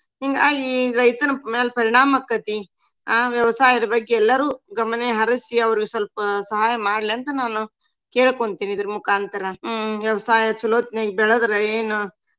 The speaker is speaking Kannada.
ಹಿಂಗಾಗಿ ರೈತನ್ ಮ್ಯಾಲ ಪರಿಣಾಮ ಆಕೈತಿ. ಅಹ್ ವ್ಯವಸಾಯದ ಬಗ್ಗೆ ಎಲ್ಲರು ಗಮನಹರಸಿ ಅವ್ರಿಗ್ ಸ್ವಲ್ಪ ಸಹಾಯ ಮಾಡ್ಲಿ ಅಂತ ನಾನು ಕೇಳಕೊಂತಿನಿ ಇದರ್ ಮೂಕಾಂತರ. ಹ್ಮ್ ವ್ಯವಸಾಯ ಚಲೋ ಹೊತ್ನ್ಯಾಗ ಬೆಳದ್ರ ಏನ.